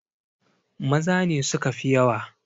Maza ne suka fi yawa!